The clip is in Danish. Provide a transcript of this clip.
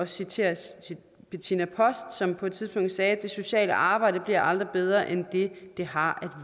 citere bettina post som på et tidspunkt sagde at det sociale arbejde aldrig bliver bedre end det det har